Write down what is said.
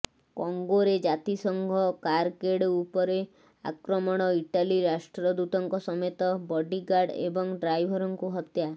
କଙ୍ଗୋରେ ଜାତିସଙ୍ଘ କାରକେଡ୍ ଉପରେ ଆକ୍ରମଣ ଇଟାଲି ରାଷ୍ଟ୍ରଦୂତଙ୍କ ସମେତ ବଡିଗାର୍ଡ ଏବଂ ଡ୍ରାଇଭରଙ୍କୁ ହତ୍ୟା